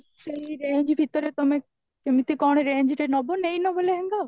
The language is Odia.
ସେଈ range ଭିତରେ ତମେ କେମିତି କଣ range ରେ ନବ ନେଈ ନବ ଲେହେଙ୍ଗା